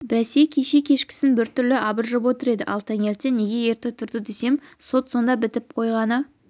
бәсе кеше кешкісін бір түрлі абыржып отыр еді ал таңертең неге ерте тұрды десем сот сонда бітіп қойғаны